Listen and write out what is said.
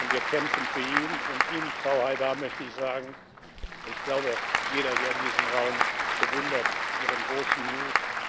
Wir kämpfen für ihn. Und Ihnen, Frau Haidar, möchte ich sagen Ich glaube, jeder hier in diesem Raum bewundert Ihren großen Mut.